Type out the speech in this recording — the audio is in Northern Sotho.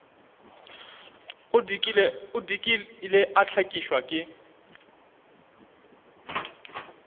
o dikile a hlakišwa ke